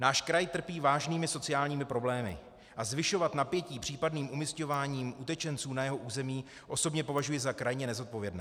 Náš kraj trpí vážnými sociálními problémy a zvyšovat napětí případným umísťováním utečenců na jeho území osobně považuji za krajně nezodpovědné.